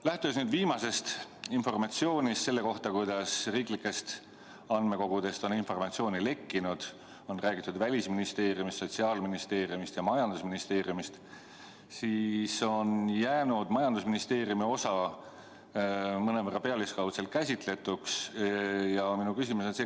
Lähtudes viimasest informatsioonist selle kohta, kuidas riiklikest andmekogudest on informatsiooni lekkinud, on räägitud Välisministeeriumist, Sotsiaalministeeriumist ja majandusministeeriumist, tuleb öelda, et majandusministeeriumi osa on jäänud mõnevõrra pealiskaudselt käsitletuks.